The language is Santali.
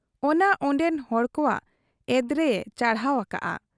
ᱚᱱᱟ ᱚᱱᱰᱮᱱ ᱦᱚᱲ ᱠᱚᱣᱟᱜ ᱮᱫᱽᱨᱮᱭᱮ ᱪᱟᱲᱦᱟᱣ ᱟᱠᱟᱜ ᱟ ᱾